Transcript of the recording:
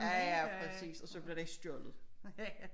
Ja ja præcis og så blev den ikke stjålet